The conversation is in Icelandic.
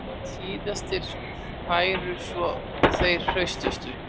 Síðastir færu svo þeir hraustustu